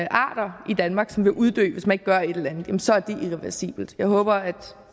arter i danmark som vil uddø hvis man ikke gør et eller andet så er det irreversibelt jeg håber at